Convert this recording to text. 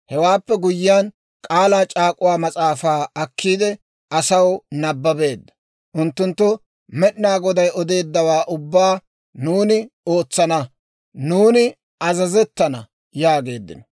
Hewaappe guyyiyaan K'aalaa c'aak'uwaa Mas'aafaa akkiide, asaw nabbabeedda; unttunttu, «Med'inaa Goday odeeddawaa ubbaa nuuni ootsana; nuuni azazettana» yaageeddino.